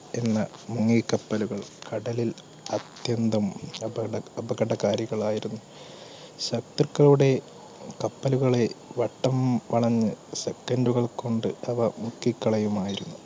പിന്നെ മുങ്ങിക്കപ്പുകൾ കടലിൽ അത്യന്തം അപക~അപകടകാരികളായിരുന്നു. ശത്രുക്കളുടെ കപ്പലുകളെ വട്ടം വളഞ്ഞ് second കൾ കൊണ്ട് അവ മുക്കി കളയുമായിരുന്നു.